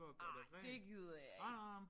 Ej det gider jeg ikke